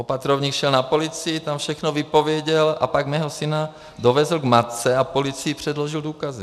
Opatrovník šel na policii, tam všechno vypověděl a pak mého syna dovezl k matce a policii předložil důkazy.